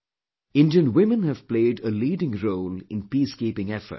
Indian women have played a leading role in peace keeping efforts